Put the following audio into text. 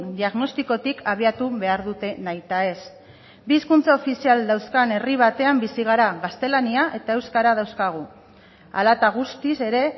diagnostikotik abiatu behar dute nahitaez bi hizkuntza ofizial dauzkan herri batean bizi gara gaztelania eta euskara dauzkagu hala eta guztiz ere